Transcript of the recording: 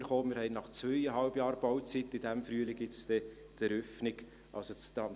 Nach zweieinhalb Jahren Bauzeit wird es in diesem Frühjahr bald zur Eröffnung des Translationszentrums kommen.